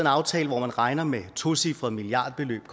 aftale hvor man regner med et tocifret milliardbeløb